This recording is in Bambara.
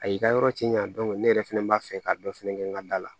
A y'i ka yɔrɔ tiɲan ne yɛrɛ fɛnɛ b'a fɛ ka dɔ fɛnɛ kɛ n ka da la